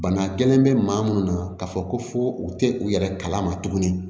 Bana gɛlɛn bɛ maa minnu na k'a fɔ ko fo u tɛ u yɛrɛ kala ma tuguni